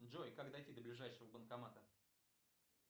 джой как дойти до ближайшего банкомата